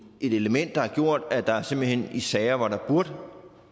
element der har gjort at der simpelt hen i sager hvor der burde have